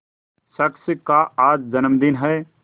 शख्स का आज जन्मदिन है